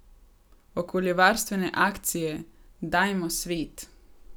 Okoljevarstvene akcije Dajmo, svet!